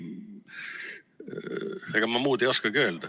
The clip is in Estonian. Ega ma muud ei oskagi öelda.